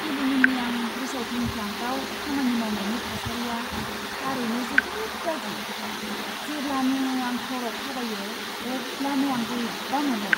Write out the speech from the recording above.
Aluminium recycling प्लान्टआव खामानि मावनायनि थासारिया थारैनो जोबोद गाज्रि, जेब्लानो आं फ्ल'रआव थाबायो अब्लानो आं बोरैबा मोनो।